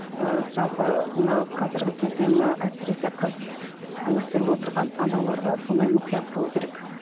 ыыы жалпы мына қазіргі кезде мына әсіресе қыз өсіріп отырған аналарға сондай мұқият болу керек